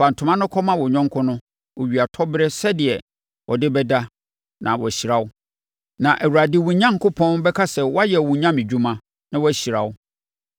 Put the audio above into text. Fa ntoma no kɔma wo yɔnko no owiatɔberɛ sɛdeɛ ɔde bɛda na wahyira wo. Na Awurade, wo Onyankopɔn, bɛka sɛ woayɛ wo nyamedwuma na wahyira wo.